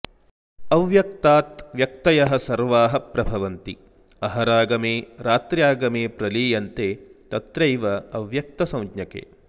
अव्यक्ताद् व्यक्तयः सर्वाः प्रभवन्ति अहरागमे रात्र्यागमे प्रलीयन्ते तत्र एव अव्यक्तसंज्ञके